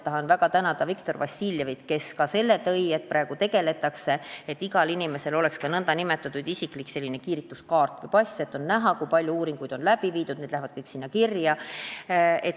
Tahan väga tänada Viktor Vassiljevit, kes ka selle teema välja tõi, et praegu tegeletakse sellega, et igal inimesel oleks isiklik nn kiirituskaart või -pass, kust on näha, kui palju uuringuid on tehtud, need lähevad kõik sinna kirja.